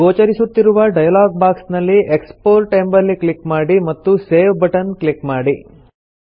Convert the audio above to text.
ಗೋಚರಿಸುತ್ತಿರುವ dialogue box ನಲ್ಲಿ export ಎಂಬಲ್ಲಿ click ಮಾಡಿ ಮತ್ತು ಸೇವ್ ಬಟನ್ ಕ್ಲಿಕ್ ಮಾಡಿ